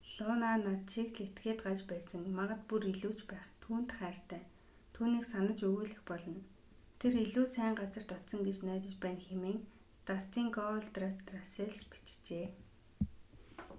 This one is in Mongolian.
луна над шиг л этгээд гаж байсан...магад бүр илүү ч байх...түүнд хайртай түүнийг санаж үгүйлэх болно...тэр илүү сайн газарт очсон гэж найдаж байна” хэмээн дастин гоулдраст” расселс бичжээ